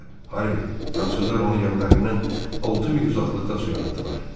Harvi, fransızlar onu gəmilərindən altı mil uzaqlıqda suya atdılar.